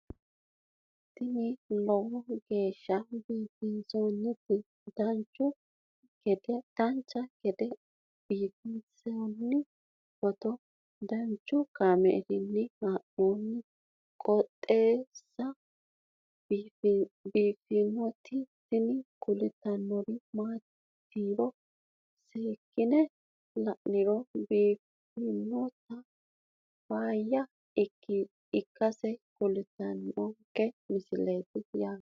tini lowo geeshsha biiffannoti dancha gede biiffanno footo danchu kaameerinni haa'noonniti qooxeessa biiffannoti tini kultannori maatiro seekkine la'niro biiffannota faayya ikkase kultannoke misileeti yaate